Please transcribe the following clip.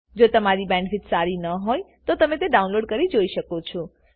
જો તમારી બેન્ડવિડ્થ સારી ન હોય તો તમે ડાઉનલોડ કરી તે જોઈ શકો છો